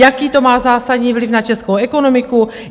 Jaký to má zásadní vliv na českou ekonomiku?